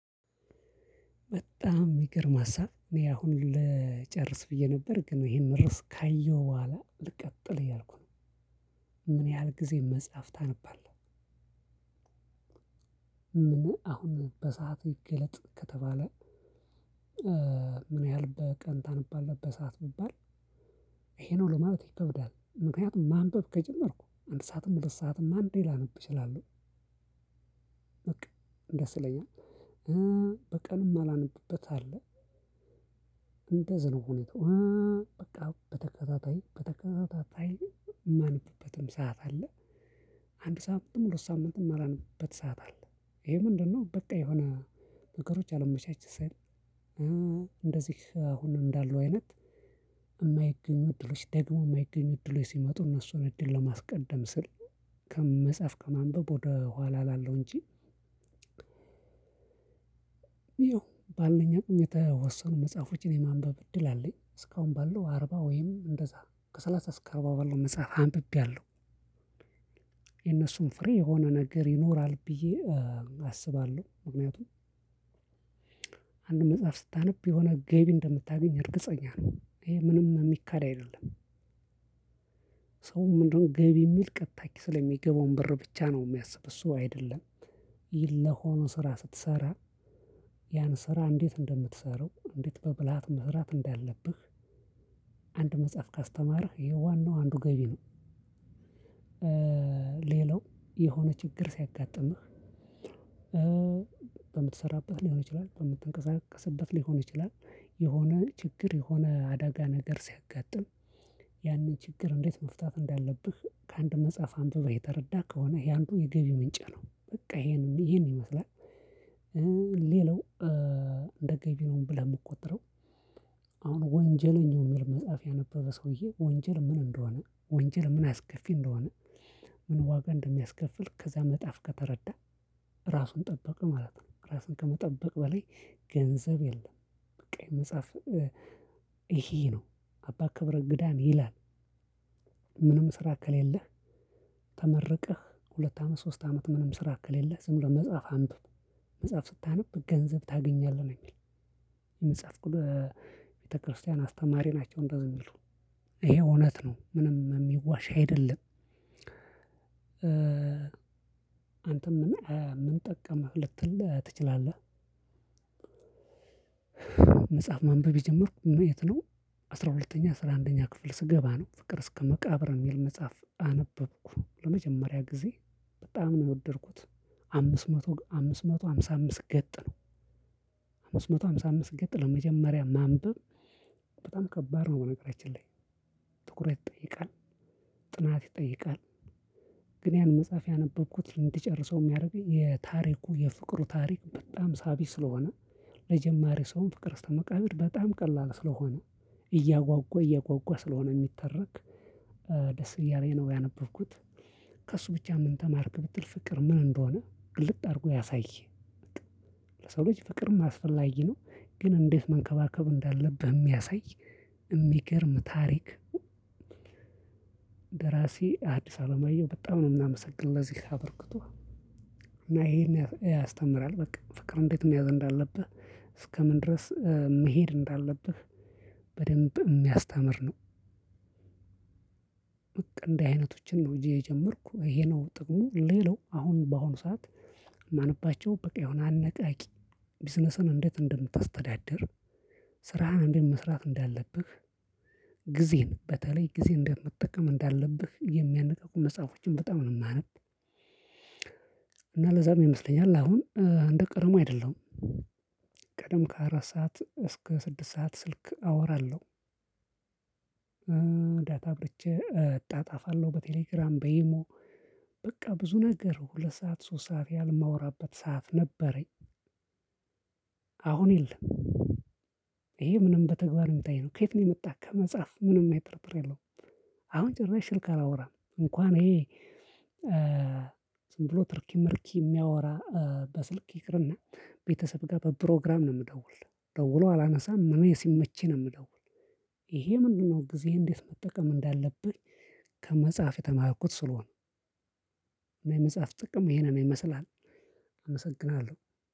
በጣም ሚገርም ሀሳብ እኔ አሁን ልጨርስ ብዬ ነበር ግን ይሄን ርዕስ ካየሁ በኋላ ልቀጥል እያልኩ ነው። ምን ያህል ጊዜ መጽሐፍ ታነባለህ? አሁን በሰአት ይገለጥ ከተባለ? ምን ያህል በቀን ታነባለህ በሰአት ብባል? ይሄ ነው ለማለት ይከብዳል ምክንያቱም ማንበብ ከጀመርኩ አንድ ሰዓትም ሁለት ሰዓትም አንዴ ላነብ እችላለሁ። በቃ ደስ ይለኛል። በቀንም ማላነብበት አለ። እንደዝ ነው ሁኔታው። በቃ በተከታታይ በተከታታይ የማነብበትም ሰዓት አለ። አንድ ሳምንትም ሁለት ሳምንትም የማላነብበት ሰዓት አለ። ይሄ ምንድነው? በቃ የሆነ ነገሮች አላመቻች ሲል። እንደዚህ አሁን እንዳሉ አይነት የማይገኙ እድሎች ደግሞ የማይገኙ እድሎች ሲመጡ እነሱን እድል ለማስቀደም ስል። ከመጽሐፍ ከማንበብ ወደ ኋላ እላለው እንጂ። ይኸው ባልኝ አቅም የተወሰኑ መጽሐፎችን የማንበብ እድል አለኝ እስካሁን ባለው አርባ ወይም እንደዛ ከሰላሳ እስከ አራባ ባላው መጽሐፍ አንብቤያለሁ። የነሱን ፍሬ የሆነ ነገር ይኖራል ብዬ አስባለሁ ምክንያቱም። አንድ መጽሐፍ ስታነብ የሆነ ገቢ እንደምታገኝ እርግጠኛ ነው ይሄ ምንም የሚካድ አይደለም። ሰው ምንድነው ገቢ የሚል ቀጥታ ኪስ ላይ የሚገባውን ብር ብቻ ነው የሚያስብ እሱ አይደለም። ኝ ለሆነ ስራ ስትሰራ ያን ስራ እንዴት እንደምትሰራው እንዴት በብልሃት መስራት እንዳለብህ። አንድ መጽሐፍ ካስተማርህ ይሄ ዋናው አንዱ ገቢ ነው። ሌላው የሆነ ችግር ሲያጋጥምህ። በምትሰራበት ሊሆን ይችላል በምትንቀሳቀስበት ሊሆን ይችላል። የሆነ ችግር የሆነ አደጋ ነገር ሲያጋጥም። ያንን ችግር እንዴት መፍታት እንዳለብህ ከአንድ መጽሐፍ አንብበህ የተረዳ ከሆነ ይሄ አንዱ የገቢ ምንጭ ነው። በቃ ይሄን ይሄን ይመስላል። ሌላው እንደ ገቢ ነው ብለህ የምቆጥረው። አሁን ወንጀለኛው የሚል መጽሐፍ ያነበበ ሰውዬ ወንጀል ምን እንደሆነ ወንጀል ምን አስከፊ እንደሆነ። ምን ዋጋ እንደሚያስከፍል ከዛ መጽሐፍ ከተረዳ ራሱን ጠበቀ ማለት ነው። ራሱን ከመጠበቅ በላይ ገንዘብ የለም። በቃ የመጽሐፍ ይሄ ነው። አባ ክብረ ግዳን ይላል። ምንም ስራ ከሌለህ ተመርቀህ ሁለት አመት ሶስት አመት ምንም ስራ ከሌለህ ዝም ብለህ መጽሐፍ አምብብ። መጽሐፍ ስታነብ ገንዘብ ታገኛለህ ነው የሚለው። የመጽሃፍ ቤተክርስቲያን አስተማሪ ናቸው። እንደዚህ ሚሉ ይሄ እውነት ነው ምንም የሚዋሽ አይደለም። አንተም ምን ምን ጠቀመህ ልትል ትችላለህ? መጽሐፍ ማንበብ የጀመርኩት መየት ነው። አስራ ሁለተኛ አስራ አንደኛ ክፍል ስገባ ነው ፍቅር እስከ መቃብር የሚል መጽሐፍ አነበብኩ ለመጀመሪያ ጊዜ። በጣም ነው የወደድኩት። አምስት መቶ አምስት መቶ ሃምሳ አምስት ገጥ ነው። አምስት መቶ ሃምሳ አምስት ገጥ ለመጀመሪያ ማንበብ። በጣም ከባድ ነው በነገራችን ላይ ትኩረት ይጠይቃል። ጥናት ይጠይቃል። ግን ያን መጽሐፍ ያነበብኩት እንዲጨርሰው የሚያደርገኝ የታሪኩ የፍቅሩ ታሪክ በጣም ሳቢ ስለሆነ። ለጀማሪ ሰው ፍቅር እስተ መቃብር በጣም ቀላል ስለሆነ። እያጓጓ እያጓጓ ስለሆነ የሚተረክ ደስ እያለኝ ነው ያነበብኩት። ከእሱ ብቻ ምን ተማርክ ብትል ፍቅር ምን እንደሆነ ግልጥ አድርጎ ያሳይህ። ለሰው ልጅ ፍቅርም ማስፈላጊ ነው። ግን እንዴት መንከባከብ እንዳለብህ የሚያሳይ። የሚገርም ታሪክ። ደራሲ አዲስ አለማየሁ በጣም ነው የምናመሰግን ለዚህ አበርክቶ። እና ይሄን ያስተምራል በቃ ፍቅር እንዴት መያዝ እንዳለብህ እስከምን ድረስ መሄድ እንዳለብህ በደንብ እሚያስተምር። በቃ እንዲህ አይነቶችን እንጂ የጀመርኩ ይሄ ነው ጥቅሙ ሌላው አሁን በአሁኑ ሰዓት። የማነባቸው በቃ የሆነ አነቃቂ ቢዝነስን እንዴት እንደምታስተዳድር። ስራህን እንዴት መስራት እንዳለብህ። ጊዜን በተለይ ጊዜ እንደምትጠቀም እንዳለብህ የሚያነቃቁ መጽሐፎችን በጣም ነው የማነብ። እና ለዛም ይመስለኛል አሁን እንደ ቀደሞ አይደለሁም። ቀደም ከአራት ሰዓት እስከ ስድስት ሰዓት ስልክ አወራለሁ። ዳታ አብርቼ እጣጣፋለሁ በቴሌግራም በኢሞ። በቃ ብዙ ነገር ሁለት ሰዓት ሶስት ሰዓት ያህል የማወራበት ሰዓት ነበረኝ። አሁን የለም። ይሄ ምንም በተግባር የምታየው ከየት ነው? የመጣህ ከመጽሐፍ ምንም አይነት ጥርጥር የለውም። አሁን ጭራሽ ስልክ አላወራም እንኳን ይሄ። ዝም ብሎ ትርኪ ምርኪ የሚያወራ። በስልክ ይቅርና ቤተሰብ ጋር በፕሮግራም ነው የምደውል። ደውሎ አላነሳም እኔ ሲመችኝ ነው የምደውል። ይሄ ምንድነው? ጊዜህን እንዴት መጠቀም እንዳለብን። ከመጽሐፍ የተማርኩት ስለሆነ። እኔ መጽሐፍ ጥቅም ይሄ ነው ይመስላል። አመሰግናለሁ